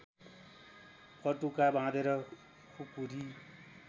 पटुका बाँधेर खुकुरी